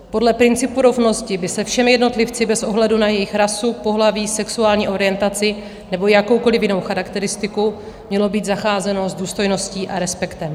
Podle principu rovnosti by se všemi jednotlivci bez ohledu na jejich rasu, pohlaví, sexuální orientaci nebo jakoukoliv jinou charakteristiku mělo být zacházeno s důstojností a respektem.